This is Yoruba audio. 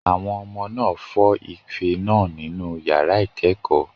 Àwọn ọmọ náà fọ́ ife náà nínú yàrá ìkẹ́kọ̀ọ́